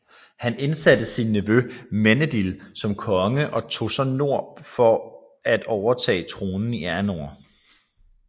Han indsatte så sin nevø Meneldil som konge og tog så mod nord for at overtage tronen i Arnor